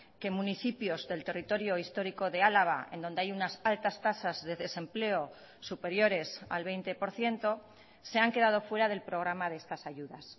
que municipios del territorio histórico de álava en donde hay unas altas tasas de desempleo superiores al veinte por ciento se han quedado fuera del programa de estas ayudas